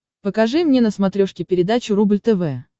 покажи мне на смотрешке передачу рубль тв